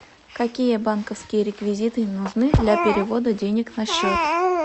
какие банковские реквизиты нужны для перевода денег на счет